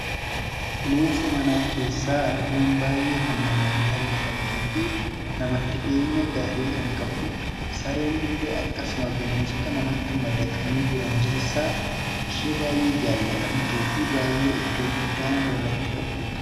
Bineensa manaa keessaa adureen baayyee kan namaan jaallatamtuu fi namatti dhi'eenya gaarii kan qabdudha sareen illee akkasuma bineensota namatti madaqanii jiran keessaa ishee baay'ee jaallatamtuu fi baay'ee eddoo guddaa nama birratti qabdudha.